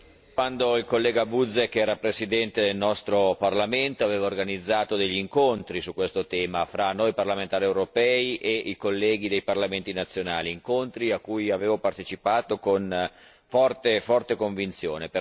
Signor Presidente, quando il collega Buzek era Presidente del nostro Parlamento, aveva organizzato degli incontri su questo tema fra noi parlamentari europei e i colleghi dei parlamenti nazionali, incontri a cui avevo partecipato con forte convinzione.